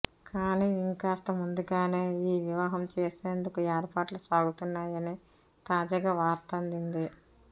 కానీ ఇంకాస్త ముందుగానే ఈ వివాహం చేసేందుకు ఏర్పాట్లు సాగుతున్నాయని తాజాగా వార్త అందింది